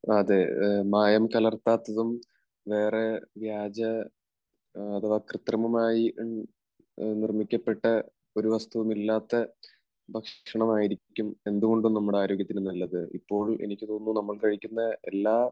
അതെ മായം കലർത്താത്തതും വേറെ വ്യാജ, അഥവാ കൃത്രിമമായി നിർമ്മിക്കപ്പെട്ട ഒരു വസ്തുവും ഇല്ലാത്ത ഭക്ഷണമായിരിക്കും എന്തുകൊണ്ടും നമ്മുടെ ആരോഗ്യത്തിന് നല്ലത്. ഇപ്പോൾ എനിക്ക് തോന്നുന്നു. നമ്മൾ കഴിക്കുന്ന എല്ലാ